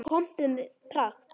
Pompuð með pragt.